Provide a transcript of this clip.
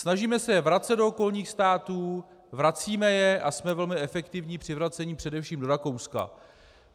Snažíme se je vracet do okolních států, vracíme je a jsme velmi efektivní při vracení především do Rakouska.